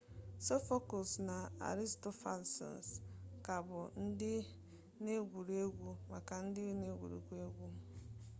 sophocles na aristophanes ka bụ ndị na-egwuri egwu na-ewu ewu ma a na-ewere egwuru egwu ha dị ka otu n'ime ọrụ akwụkwọ kachasị mma n'ụwa